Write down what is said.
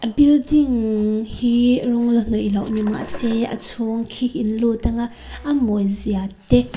building hi rawng la hnawih loh ni mahse a chhung khi in lut ang a a mawi zia te--